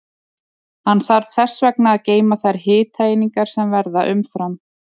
Hann þarf þess vegna að geyma þær hitaeiningar sem verða umfram.